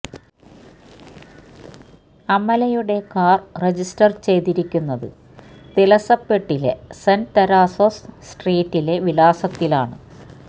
അമലയുടെ car register ചെയ്തിരിക്കുന്നത് തിലസപ്പെട്ടിലെ Saint Teresa's സ്ട്രീറ്റിലെ വിലാസത്തിലാണ്